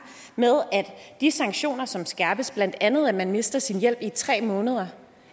med at de sanktioner som skærpes blandt andet at man mister sin hjælp i tre måneder